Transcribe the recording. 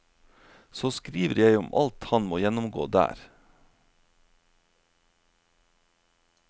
Så skriver jeg om alt han må gjennomgå der.